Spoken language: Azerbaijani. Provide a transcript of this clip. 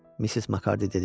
Missis Makarddi dedi.